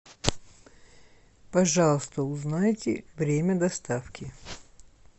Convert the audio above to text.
пожалуйста узнайте время доставки